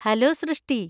Hello Srishti!